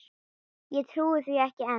Ég trúi því ekki enn.